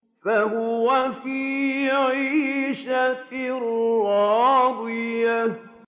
فَهُوَ فِي عِيشَةٍ رَّاضِيَةٍ